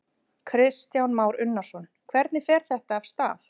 Kristján Már Unnarsson: Hvernig fer þetta af stað?